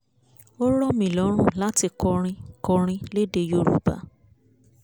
ó rọ̀ mí lọ́rùn láti kọrin kọrin lédè yorùbá